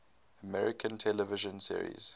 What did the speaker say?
american television series